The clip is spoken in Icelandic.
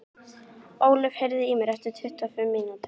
Ólöf, heyrðu í mér eftir tuttugu og fimm mínútur.